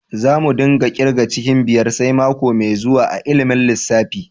Za mu dinga kirga cikin biyar sai mako mai zuwa a'ilimin lissafi.